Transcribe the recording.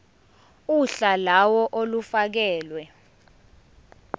uhla lawo olufakelwe